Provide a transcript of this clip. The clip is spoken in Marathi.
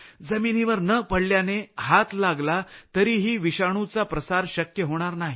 जमिनीवर न पडल्याने हात लागला तरीही विषाणुचा प्रसार शक्य होणार नाही